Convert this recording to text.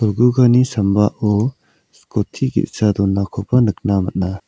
sambao skoti ge·sa donakoba nikna man·a.